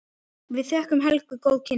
Við þökkum Helgu góð kynni.